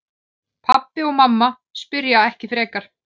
Pabbi og mamma spyrja ekki frekar.